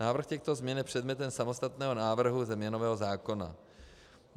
Návrh těchto změn je předmětem samostatného návrhu změnového zákona.